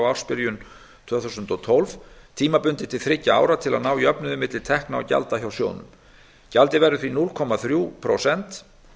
ársbyrjun tvö þúsund og tólf tímabundið til þriggja ára til að ná jöfnuði milli tekna og gjalda hjá sjóðnum gjaldið verður því núll komma þrjú prósent